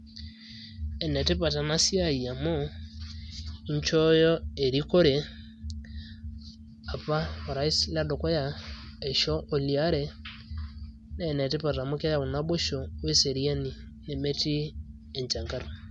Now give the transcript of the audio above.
Enetipat enasiai amu, inchooyo erikore apa o rais ledukuya eisho oliare. Na enetipat amu keyau naboisho weseriani nemetii enchangar.